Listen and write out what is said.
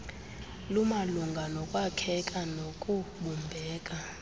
lumalunga nokwakheka nokubumbeka